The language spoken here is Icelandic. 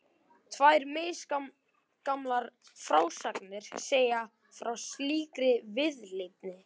Tvær misgamlar frásagnir segja frá slíkri viðleitni.